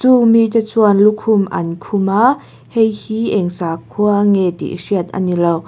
chung mi te chuan lukhum an khum a heihi eng sakhua nge tih hriat ani lo.